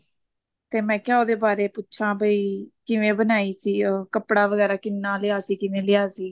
ਤੇ ਮੈਂ ਕਿਹਾ ਉਹਦੇ ਬਾਰੇ ਪੁੱਛਾਂ ਬਈ ਕਿਵੇਂ ਬਣਾਈ ਸੀ ਉਹ ਕੱਪੜਾ ਵਗੈਰਾ ਕਿੰਨਾ ਲਿਆ ਸੀ ਕਿਵੇਂ ਲਿਆ ਸੀ